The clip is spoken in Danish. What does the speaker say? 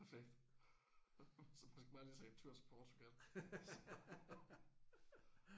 Perfekt! Så man skal bare lige tage en tur til Portugal så